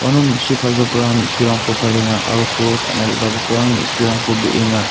uano me·su palgiparang me·surangko palenga aro koros ka·na re·bagiparang me·surangko breenga.